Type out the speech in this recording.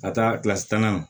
Ka taa kilasi tan na